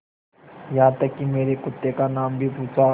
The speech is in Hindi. यहाँ तक कि मेरे कुत्ते का नाम भी पूछा